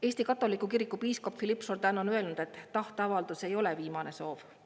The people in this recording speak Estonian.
Eesti katoliku kiriku piiskop Philippe Jourdan on öelnud, et tahteavaldus ei ole viimane soov.